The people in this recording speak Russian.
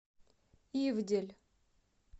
ивдель